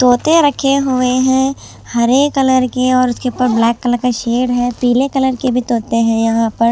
तोता रखे हुए हैं हरे कलर के और उसके ऊपर ब्लैक कलर का शेर है पीले कलर के भी तोते हैं यहां पर।